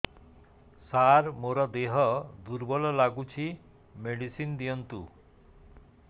ସାର ମୋର ଦେହ ଦୁର୍ବଳ ଲାଗୁଚି ମେଡିସିନ ଦିଅନ୍ତୁ